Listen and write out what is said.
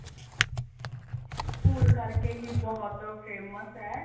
food ਕਰਕੇ ਹੀ ਬਹੁਤ famous ਏ